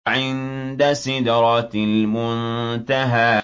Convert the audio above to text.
عِندَ سِدْرَةِ الْمُنتَهَىٰ